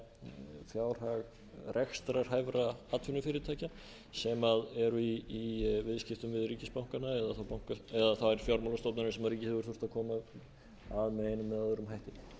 að endurskipuleggja fjárhag rekstrarhæfra atvinnufyrirtækja sem eru í viðskttpum við ríkisbankana eða þær fjármálastofnanir sem ríkið hefur þurft að koma að með einum eða öðrum hætti